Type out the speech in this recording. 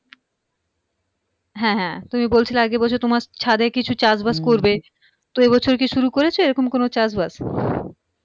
হ্যাঁ হ্যাঁ তুমি বলছিলা আগের বছর তোমার ছাদে কিছু চাষবাস করবে তো এ বছর কি শুরু করেছ এরকম কোন চাষবাস?